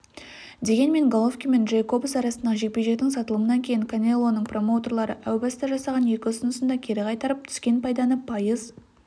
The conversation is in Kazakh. дегенмен головкин мен джейкобс арасындағы жекпе-жектің сатылымынан кейін канелоның промоутерлері әу баста жасаған екі ұсынысын да кері қайтарып түскен пайданы пайыз